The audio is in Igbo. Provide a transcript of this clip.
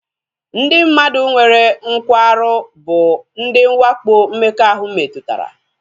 Ndị mmadụ nwere nkwarụ bụ ndị nwakpo mmekọahụ metụtara